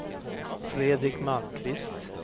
Fredrik Malmqvist